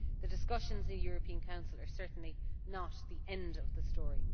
The discussions in the European Council are certainly not the end of the story.